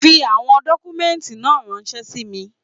Fi àwọn dọ́kúmẹ́ǹtì náà ránṣẹ́ sí mi.